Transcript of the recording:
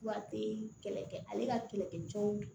Wa te kɛlɛ kɛ ale ka kɛlɛkɛ cɛw